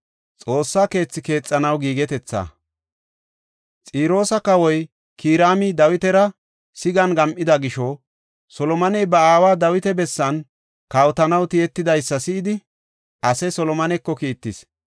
Xiroosa kawoy Kiraami Dawitara sigan gam7ida gisho, Solomoney ba aawa Dawita bessan kawotanaw tiyetidaysa si7idi, ase Solomoneko kiittis.